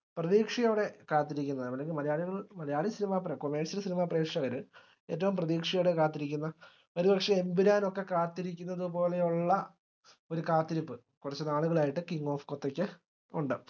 പ്രതീക്ഷയോടെ കാത്തിരിക്കുന്നതാണ് മലയാളികൾ മലയാളി cinema പ്രേഷ commercial cinema പ്രേക്ഷകർ ഏറ്റവും പ്രതീക്ഷയോടെ കാത്തിരിക്കുന്ന ഒരുപക്ഷെ എമ്പുരാനൊക്കെ കാത്തിരിക്കുന്നതുപോലെയുള്ള ഒരു കാത്തിരിപ്പ് കുറച്ചുനാളുകളായിട്ട് king of kotha ക്ക് ഉണ്ട്